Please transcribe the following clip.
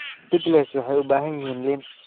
Pickles waxay u baahan yihiin liin.